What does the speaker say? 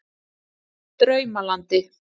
Draumalandi